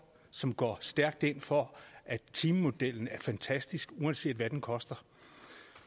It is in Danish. som går stærkt ind for at timemodellen er fantastisk uanset hvad den koster